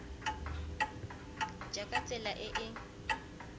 ja ka tsela e e